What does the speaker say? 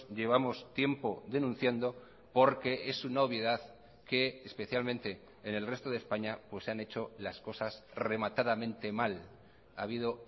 llevamos tiempo denunciando porque es una obviedad que especialmente en el resto de españa pues se han hecho las cosas rematadamente mal ha habido